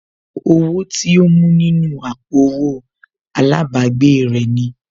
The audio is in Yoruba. Owó tí ó mú nínú àpò owó àlábàgbèè rẹ̀ ni